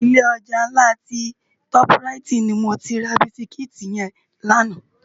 Ilé ojá nlá ti tòp ráiti ni mó ti rá bisikiti yèn làná